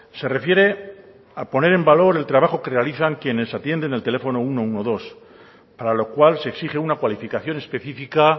se refiere a poner en valor el trabajo que realizan quienes atienden el teléfono ciento doce para lo cual se exige una cualificación específica